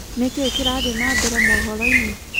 nĩkĩĩ kĩrathĩe nambere mohoro-ĩnĩ